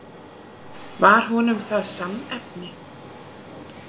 Var honum það sannnefni.